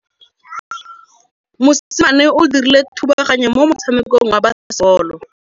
Mosimane o dirile thubaganyô mo motshamekong wa basebôlô.